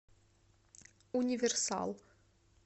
универсал